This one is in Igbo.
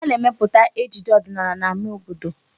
Ana-emepụta ejije ọdịnala n'ámá obodo.